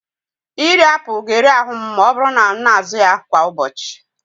Iri apụl ga-eri ahụ m ma ọ bụrụ na m na-azụ ya kwa ụbọchị.